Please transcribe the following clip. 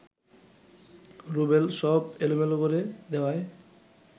রুবেল সব এলোমেলো করে দেওয়াই